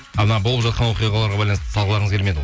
а мына болып жатқан оқиғаларға байланысты салғыларыңыз келмеді ғой